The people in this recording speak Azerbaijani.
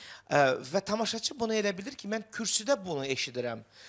Və tamaşaçı bunu elə bilir ki, mən kürsüdə bunu eşidirəm.